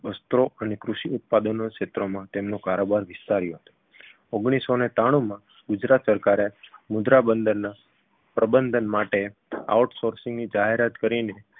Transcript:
વસ્ત્રો અને કૃષિ ઉત્પાદનોના ક્ષેત્રમાં તેમનો કારોબાર વિસ્તાર્યો ઓગણીસસોને ત્રાણુમાં ગુજરાત સરકારે મુદ્રા બંદરના પ્રબંધન માટે out sourcing ની જાહેરાત કરીને